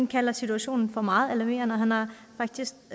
kalder situationen for meget alarmerende og han har faktisk